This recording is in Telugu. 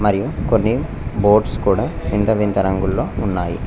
మరియు కొన్ని బోర్డ్స్ కూడా వింత వింత రంగుల్లో ఉన్నాయి.